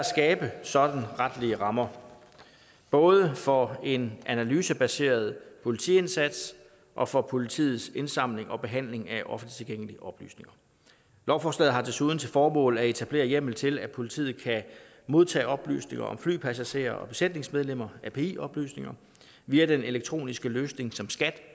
skabe sådanne retlige rammer både for en analysebaseret politiindsats og for politiets indsamling og behandling af offentligt tilgængelige oplysninger lovforslaget har desuden til formål at etablere hjemmel til at politiet kan modtage oplysninger om flypassagerer og besætningsmedlemmer api oplysninger via den elektroniske løsning som skat